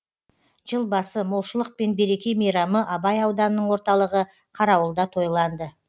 жыл басы молшылық пен береке мейрамы абай ауданының орталығы қарауылда тойланды